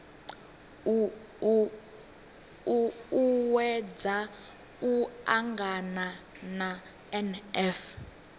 u uuwedza u angana na nf